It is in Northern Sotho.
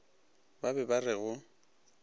ba be ba re go